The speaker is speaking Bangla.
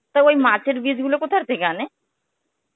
তা ওই মাছের বীজ গুলো কথা থেকে আনে?